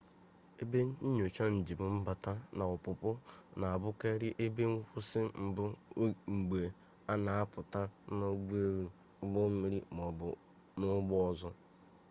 ebe nnyocha njem mbata na ọpụpụ na-abụkarị ebe nkwụsị mbụ mgbe a na-apụta n'ụgbọelu ụgbọmmiri maọbụ n'ụgbọ ọzọ